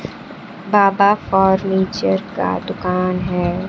बाबा furniture का दुकान है।